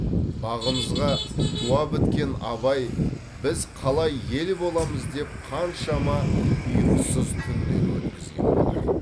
бағымызға туа біткен абай біз қалай ел боламыз деп қаншама ұйқысыз түндер өткізген болар